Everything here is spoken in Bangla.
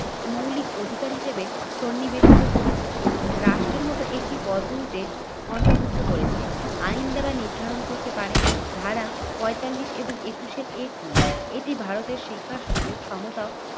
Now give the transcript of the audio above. মৌলিক অধিকার হিসেবে সন্নিবেশিত করেছে। রাষ্ট্রের মত একটি পদ্ধতিতে অন্তর্ভুক্ত করেছে আইন দ্বারা নির্ধারণ করতে পারে। ধারা পঁয়তাল্লিশ এবং একুশের এ কে এটি ভারতের শিক্ষার সুযোগ সমতা